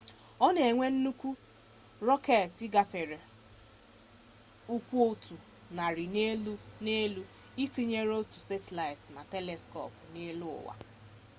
o na-ewe nnukwu rọketi gafere ụkwụ otu narị n'elu itinye otu satịlaịtị na teliskop n'eluụwa